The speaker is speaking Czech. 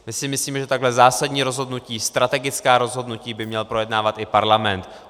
My si myslíme, že takhle zásadní rozhodnutí, strategická rozhodnutí, by měl projednávat i parlament.